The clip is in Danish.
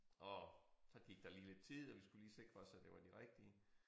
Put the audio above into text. Og så gik der lige lidt tid og vi skulle lige sikre os at det var de rigtige